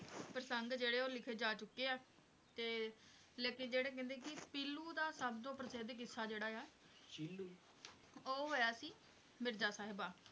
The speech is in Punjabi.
ਪ੍ਰਸੰਗ ਜਿਹੜੇ ਆ ਉਹ ਲਿਖੇ ਜਾ ਚੁੱਕੇ ਆ ਤੇ ਲੇਕਿੰਨ ਜਿਹੜੇ ਕਹਿੰਦੇ ਕਿ ਪੀਲੂ ਦਾ ਸਭ ਤੋਂ ਪ੍ਰਸਿੱਧ ਕਿੱਸਾ ਜਿਹੜਾ ਹੈ ਉਹ ਹੋਇਆ ਸੀ ਮਿਰਜ਼ਾ ਸਾਹਿਬਾ